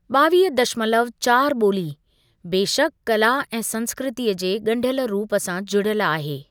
ॿावीह दशमलव चारि ॿोली, बेशक कला ऐं संस्कृतीअ जे ॻंढियल रूप सां जुड़ियल आहे।